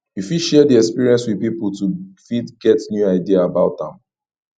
you fit share di experience with pipo to fit get new idea about am